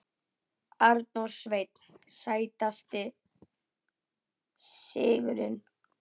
Arnór Sveinn Sætasti sigurinn?